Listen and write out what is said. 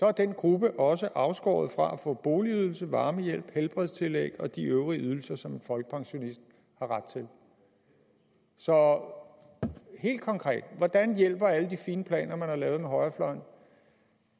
er den gruppe også afskåret fra at få boligydelse varmehjælp helbredstillæg og de øvrige ydelser som en folkepensionist har ret til så helt konkret hvordan hjælper alle de fine planer man har lavet med højrefløjen